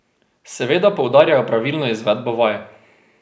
Seveda poudarjajo pravilno izvedbo vaj.